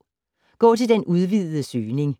Gå til den udvidede søgning